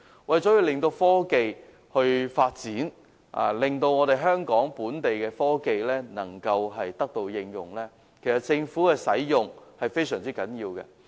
為促進科技發展，令香港本地的科技能夠得到應用，政府使用這些科技是非常重要的。